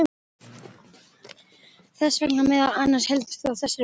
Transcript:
Þess vegna meðal annars heldur þú á þessari bók.